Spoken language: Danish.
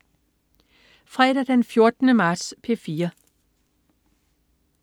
Fredag den 14. marts - P4: